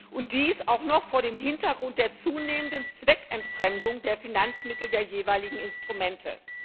Und dies auch noch vor dem Hintergrund der zunehmenden Zweckentfremdung der Finanzmittel der jeweiligen Instrumente.